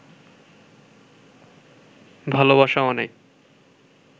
ভালোবাসা অনেক